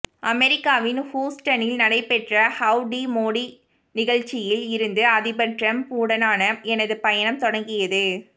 அமெரிக்காவின் ஹூஸ்டனில் நடைபெற்ற ஹவ் டி மோடி நிகழ்ச்சியில் இருந்து அதிபர் டிரம்ப் உடனான எனது பயணம் தொடங்கியது